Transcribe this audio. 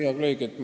Hea kolleeg!